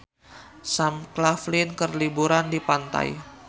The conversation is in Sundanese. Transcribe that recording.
Sam Claflin keur liburan di pantai